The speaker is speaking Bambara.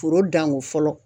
Foro danko fɔlɔ.